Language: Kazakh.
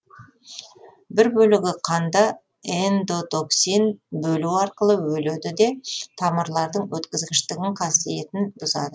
бір бөлігі қанда эндотоксин бөлу арқылы өледі де тамырлардың өткізгіштігін қасиетін бұзады